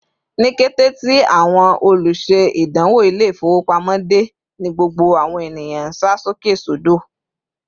Ni kété tí àwọn oluse-idanwo Ilé-ifowopamo de, ní gbogbo àwọn ènìyàn nsa sókè sodo